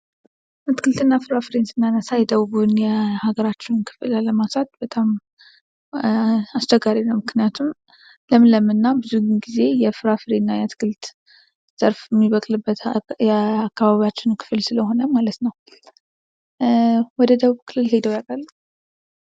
እትክልት እና ፍራፍሬን ስናነሳ የደቡቡን የሀገራችን ክፍል አለማንሳት በጣም አስቸጋሪ ነው ምክንያቱም ለምለም እና ብዙ ጊዜ የፍራፍሬ እና የአትክልት ዛፍ የሚበቅልበት የአካባቢያችን ክፍል ስለሆነ ማለት ነው ። ወደ ደቡብ ክልል ሂደው ያውቃሉ?